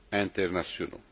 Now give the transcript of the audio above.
internationaux.